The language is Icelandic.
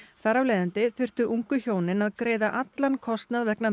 þar af leiðandi þurftu ungu hjónin að greiða allan kostnað vegna